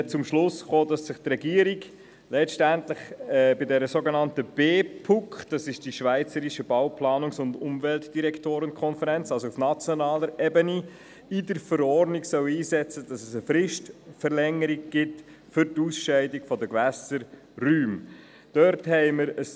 Wir kamen zum Schluss, dass sich die Regierung bei der schweizerischen Bau-, Planungs- und Umweltdirektoren-Konferenz (BPUK) auf nationaler Ebene bei der Verordnung um eine Fristverlängerung für die Ausscheidung der Gewässerräume einsetzen soll.